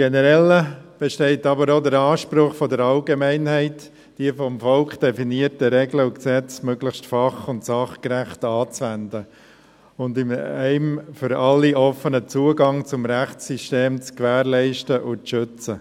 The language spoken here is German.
Generell besteht aber auch der Anspruch der Allgemeinheit, die vom Volk definierten Regeln und Gesetze möglichst fach- und sachgerecht anzuwenden und einen für alle offenen Zugang zum Rechtssystem zu gewährleisten und zu schützen.